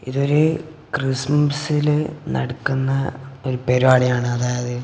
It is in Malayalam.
ഇതൊരു ക്രിസ്മസിലെ നടക്കുന്ന ഒരു പരിപാടിയാണ് അതായത്--